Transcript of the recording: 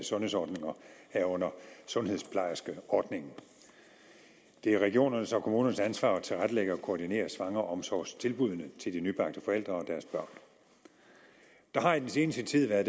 sundhedsordninger herunder sundhedsplejerskeordningen det er regionernes og kommunernes ansvar at tilrettelægge og koordinere svangreomsorgstilbuddene til de nybagte forældre og deres børn der har i den seneste tid været